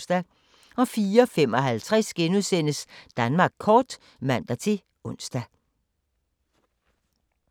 04:55: Danmark kort *(man-ons)